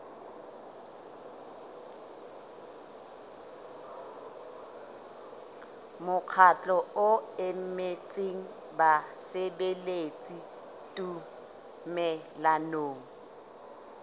mokgatlo o emetseng basebeletsi tumellanong